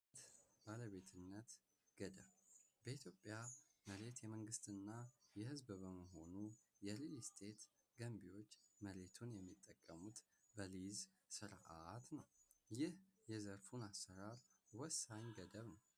ባለቤትነት ገዳም በኢትዮጵያ መሬት የመንግስትና የህዝብ በመሆኑ የሪል ስቴት ገቢዎች መሬቱን የሚጠቀሙት ስርዓት ነው። ይህ የዘርፉን አሰራር ገደብ ነው።